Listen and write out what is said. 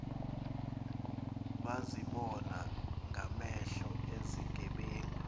bazibona ngamehlo izigebenga